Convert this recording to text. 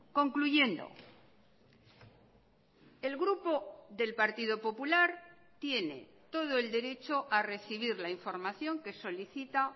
concluyendo el grupo del partido popular tiene todo el derecho a recibir la información que solicita